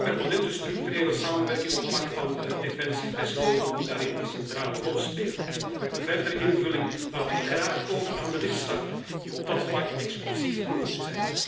De permanente gestructureerde samenwerking op het vlak van defensie moet daarin een centrale rol spelen. Maar de verdere invulling laten we graag over aan de lidstaten, die op dat vlak exclusief bevoegd zijn.